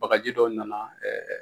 Bagaji dɔ nana